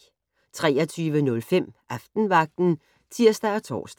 23:05: Aftenvagten (tir og tor)